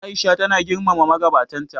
A'isha tana girmama magabatan ta.